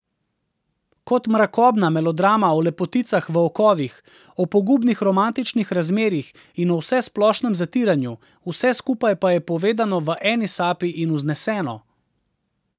Kot mrakobna melodrama o lepoticah v okovih, o pogubnih romantičnih razmerjih in o vsesplošnem zatiranju, vse skupaj pa je povedano v eni sapi in vzneseno.